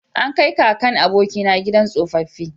An kai kakan abokina gidan tsofaffi